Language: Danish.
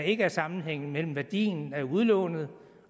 ikke er sammenhæng mellem værdien af udlånet